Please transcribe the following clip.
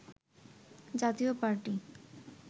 জাতীয় পার্টি